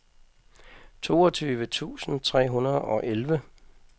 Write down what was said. toogtyve tusind tre hundrede og elleve